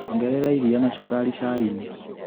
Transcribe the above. Ongerera iria na cukari cainĩ.